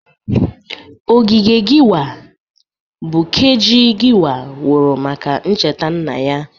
Ogige Giwa bụ Keji Giwa wuru maka ncheta nna ya.